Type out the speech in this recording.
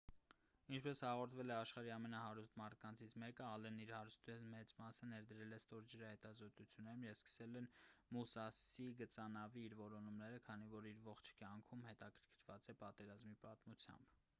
ինչպես հաղորդվել է աշխարհի ամենահարուստ մարդկանցից մեկը ՝ ալենն իր հարստության մեծ մասը ներդրել է ստորջրյա հետազոտություններում և սկսել է «մուսասի» գծանավի իր որոնումները քանի որ իր ողջ կյանքում հետաքրքրված է պատերազմի պատմությամբ: